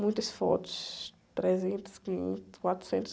Muitas fotos, trezentas, quinhentas, quatrocentas